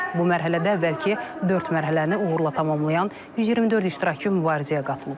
Bu mərhələdə əvvəlki dörd mərhələni uğurla tamamlayan 124 iştirakçı mübarizəyə qatılıb.